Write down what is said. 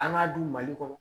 An k'a dun mali kɔnɔ